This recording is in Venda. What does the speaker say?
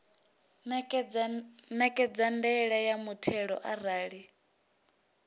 ṋekedza ndaela ya muthelo arali